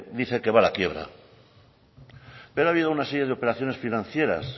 dice que va a la quiebra pero ha habido una serie de operaciones financieras